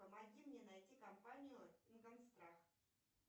помоги мне найти компанию ингосстрах